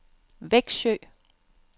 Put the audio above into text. Växjö